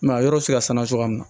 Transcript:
a yɔrɔ bɛ se ka sanuya cogoya min na